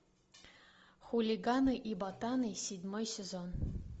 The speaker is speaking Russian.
хулиганы и ботаны седьмой сезон